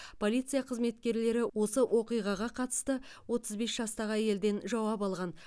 полиция қызметкерлері осы оқиғаға қатысты отыз бес жастағы әйелден жауап алған